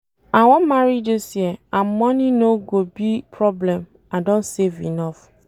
I wan marry dis year and money no go be problem I don save enough